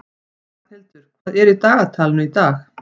Ragnhildur, hvað er í dagatalinu í dag?